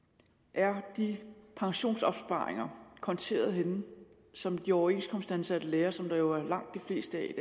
er de pensionsopsparinger konteret henne som de overenskomstansatte lærere som jo er langt de fleste i